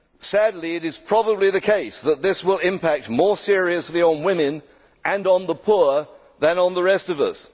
Sadly, it is probably the case that this will impact more seriously on women and on the poor than on the rest of us.